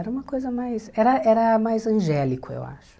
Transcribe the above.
Era uma coisa mais, era era mais angélico, eu acho.